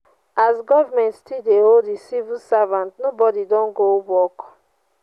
as government still dey owe the civil servants nobody don go work